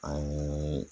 A ye